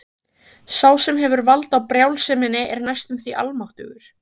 Sá sem hefur vald á brjálseminni er næstum því almáttugur.